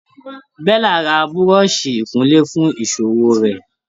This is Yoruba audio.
Bella ra buroṣi ikunle fún ìṣòwò rè.